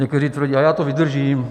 Někteří tvrdí: A já to vydržím.